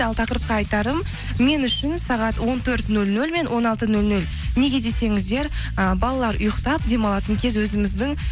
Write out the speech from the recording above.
ал тақырыпқа айтарым мен үшін сағат он төрт нөл нөл мен он алты нөл нөл неге десеңіздер і балалар ұйықтап демалатын кез өзіміздің